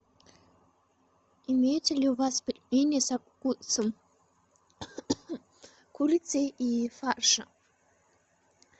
имеются ли у вас пельмени со вкусом курицы и фарша